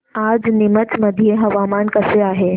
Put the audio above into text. आज नीमच मध्ये हवामान कसे आहे